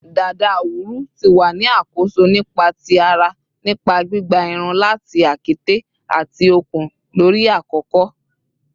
Dada awuru ti wa ni akoso nipa ti ara nipa gbigba irun lati akete ati okun lori akoko